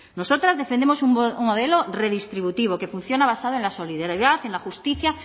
nosotras defendemos un modelo redistributivo que funciona basado en la solidaridad en la justicia